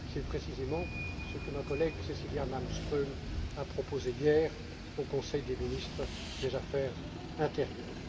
C'est précisément ce que ma collègue, Cecilia Malmström, a proposé hier au Conseil des ministres des affaires intérieures.